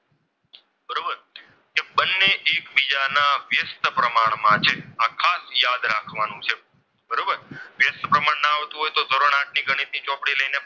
પ્રમાણમાં છે આ ખાસ યાદ રાખવાનું છે